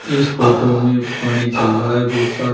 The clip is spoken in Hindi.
इस फोटो में पानी चल रहा है बहुत सारा।